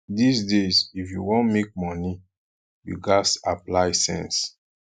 dis days if you wan make money you gats apply sense